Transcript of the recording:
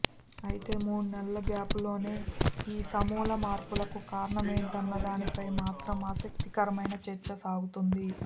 అయితే మూడు నెలల గ్యాప్లోనే ఈ సమూల మార్పులకు కారణమేంటన్నదానిపై మాత్రం ఆసక్తికరమైన చర్చే సాగుతోంది